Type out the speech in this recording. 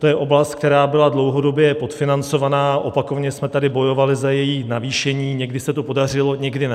To je oblast, která byla dlouhodobě podfinancovaná, opakovaně jsme tady bojovali za její navýšení, někdy se to podařilo, někdy ne.